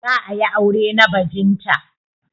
Za a yi aure na bajinta.